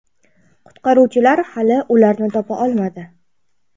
Qutqaruvchilar hali ularni topa olmadi.